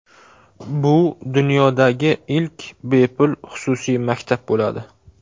Bu dunyodagi ilk bepul xususiy maktab bo‘ladi.